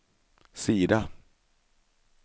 sida